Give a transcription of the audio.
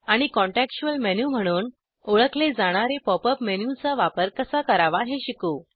आणि contextual menu म्हणून ओळखले जाणारे पॉप अप मेनूचा वापर कसा करावा हे शिकू